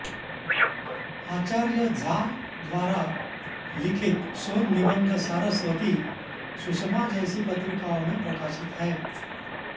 आचार्य झा द्वारा लिखित शोध निबन्ध सारस्वती सुषमा जैसी पत्रिकाओं में प्रकाशित हैं